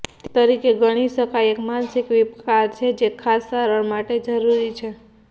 તે તરીકે ગણી શકાય એક માનસિક વિકાર છે જે ખાસ સારવાર માટે જરૂરી છે